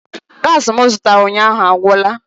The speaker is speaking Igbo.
Gaasi m zụtara ụnyaahụ agwụla